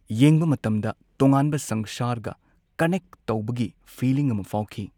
ꯌꯦꯡꯕ ꯃꯇꯝꯗ ꯇꯣꯉꯥꯟꯕ ꯁꯪꯁꯥꯔꯒ ꯀꯟꯅꯦꯛ ꯐꯥꯎꯈꯤ ꯐꯤꯂꯤꯡ ꯑꯃ ꯐꯪꯈꯤ꯫